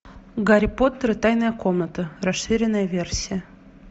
гарри поттер и тайная комната расширенная версия